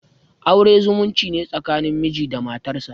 Aure zumunci ne tsakanin miji da matarsa.